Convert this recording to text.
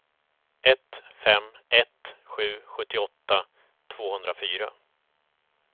ett fem ett sju sjuttioåtta tvåhundrafyra